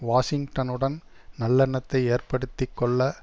வாஷிங்டனுடன் நல்லெண்ணத்தை ஏற்படுத்தி கொள்ள